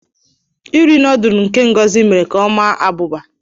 Iri noddlu nke Ngozi mere ka ọ maa abụba